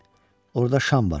Orda şam var, qorxma.